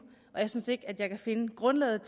og jeg synes ikke at jeg kan finde grundlaget